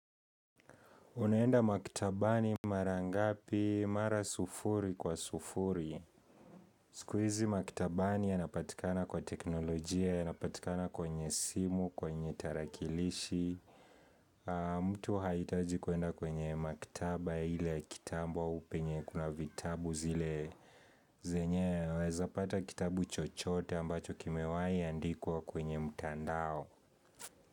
Unaenda maktabani mara ngapi, mara sufuri kwa sufuri. Siku hizi maktabani ya napatikana kwa teknolojia, ya napatikana kwenye simu, kwenye tarakilishi. Mtu hahitaji kwenda kwenye maktaba ile ya kitambo au penye kuna vitabu zile. Zenye, waweza pata kitabu chochote ambacho kimewahi andikwa kwenye mtandao.